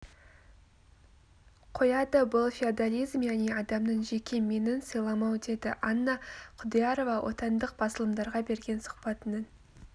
қояды бұл феодализм яғни адамның жеке менін сыйламау деді анна құдиярова отандық басылымдарға берген сұхбатының